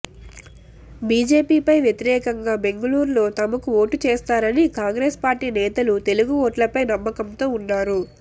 బిజెపిపై వ్యతిరేకంగా బెంగుళూరులో తమకు ఓటు చేస్తారని కాంగ్రెస్ పార్టీ నేతలు తెలుగు ఓట్లపై నమ్మకంతో ఉన్నారు